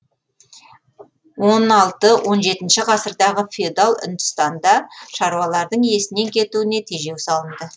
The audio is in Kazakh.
он алты он жетінші ғасырдағы феодал үндістанда шаруалардың иесінен кетуіне тежеу салынды